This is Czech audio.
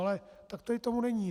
Ale tak tady tomu není.